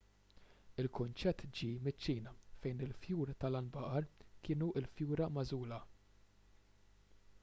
l-kunċett ġie miċ-ċina fejn il-fjur tal-għanbaqar kienu l-fjura magħżula